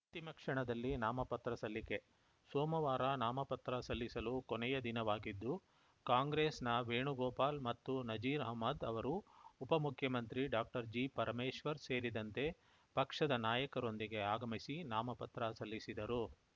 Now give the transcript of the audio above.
ಅಂತಿಮ ಕ್ಷಣದಲ್ಲಿ ನಾಮಪತ್ರ ಸಲ್ಲಿಕೆ ಸೋಮವಾರ ನಾಮಪತ್ರ ಸಲ್ಲಿಸಲು ಕೊನೆಯ ದಿನವಾಗಿದ್ದು ಕಾಂಗ್ರೆಸ್‌ನ ವೇಣುಗೋಪಾಲ್‌ ಮತ್ತು ನಜೀರ್‌ ಅಹ್ಮದ್‌ ಅವರು ಉಪಮುಖ್ಯಮಂತ್ರಿ ಡಾಕ್ಟರ್ಜಿಪರಮೇಶ್ವರ್‌ ಸೇರಿದಂತೆ ಪಕ್ಷದ ನಾಯಕರೊಂದಿಗೆ ಆಗಮಿಸಿ ನಾಮಪತ್ರ ಸಲ್ಲಿಸಿದರು